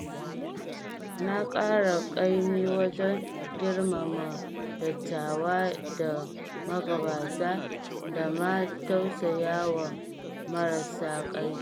Na ƙara ƙaimi wajen girmama dattawa da magabata da ma tausayawa marasa ƙarfi.